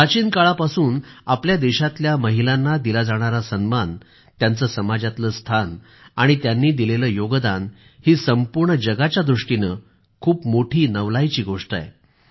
प्राचीन काळापासून आपल्या देशातल्या महिलांना दिला जाणारा सन्मान त्यांचं समाजातलं स्थान आणि त्यांनी दिलेलं योगदान ही संपूर्ण दुनियेच्या दृष्टीने खूप मोठी नवलाची गोष्ट आहे